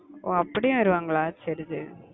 ஓ அப்படியும் வருவாங்களா? சரி சரி